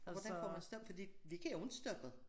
Hvordan får man stop fordi de kan jo ikke stoppe